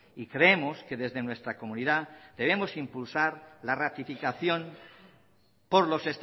y creemos que desde nuestra comunidad tenemos impulsar la ratificación por los